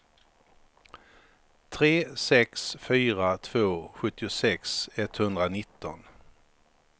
tre sex fyra två sjuttiosex etthundranitton